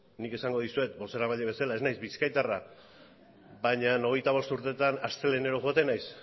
nik esango dizuet bozeramaile bezala ez naiz bizkaitarra baina hogeita bost urteetan astelehenero joaten naiz